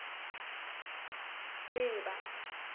leeba